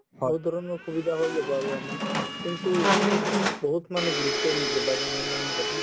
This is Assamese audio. বহু ধৰণৰ সুবিধা হয় যাব আৰু আমাৰ কিন্তু বহুত মানুহে গুৰুত্বয়ে নিদিয়ে বাগানৰ মানুহ কেইটা